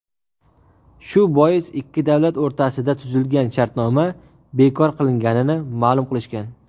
shu bois ikki davlat o‘rtasida tuzilgan shartnoma bekor qilinganini ma’lum qilishgan.